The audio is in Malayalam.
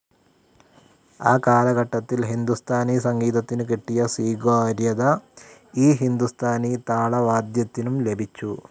ആ കാലഘട്ടത്തിൽ ഹിന്ദുസ്ഥാനി സംഗീതത്തിനു കിട്ടിയ സ്വീകാര്യത, ഈ ഹിന്ദുസ്ഥാനി താളവാദ്യത്തിനും ലഭിച്ചു.